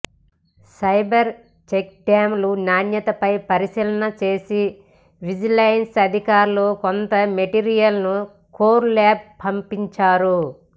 fibre చెక్డ్యామ్ల నాణ్యతపై పరిశీలన చేసిన విజిలెన్స్ అధికారులు కొంత మెటీరియల్ను కోర్ ల్యాబ్ పంపించారు